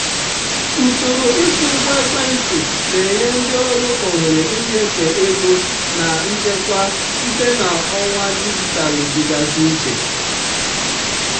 usoro ịkwụ ụgwọ ekwentị na-enye ndị ọrụ ohere ịnyefe ego na nchekwa site na ọwa dijitalụ dịgasị iche.